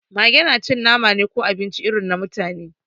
Mage na cin nama ne ko abinci irin na mutane